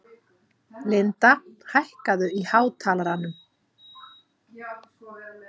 Linda, hækkaðu í hátalaranum.